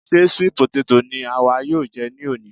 Ṣe sweet potato ni àwa yóò jẹ ní òní?